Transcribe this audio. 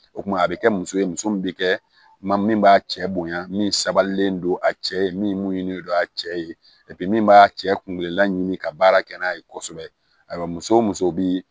O tuma a bɛ kɛ muso ye muso min bɛ kɛ min b'a cɛ bonya min sabalilen don a cɛ ye min ɲini don a cɛ ye min b'a cɛ kun laɲini ka baara kɛ n'a ye kosɛbɛ ayiwa muso o muso bi